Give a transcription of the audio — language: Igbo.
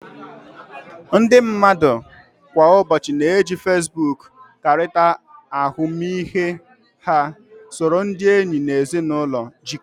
Ndị mmadụ kwa ụbọchị na-eji Facebook kerịta ahụmịhe ha, soro ndị enyi na ezinụlọ jikọọ